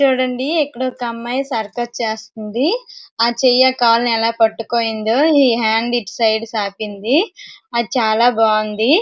చూడండి ఇక్కడ ఒక అమ్మాయి సర్కస్ చేస్తుంది ఆ చెయ్యి ఆ కాలుని ఎలా పట్టుకుంది ఈ హ్యాండ్ ఇటు సైడ్ చాపింది అది చాలా బాగుంది.